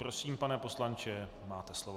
Prosím, pane poslanče, máte slovo.